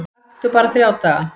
Aktu bara þrjá daga